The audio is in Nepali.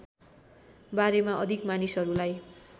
बारेमा अधिक मानिसहरूलाई